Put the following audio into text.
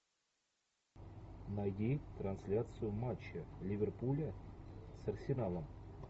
найди трансляцию матча ливерпуля с арсеналом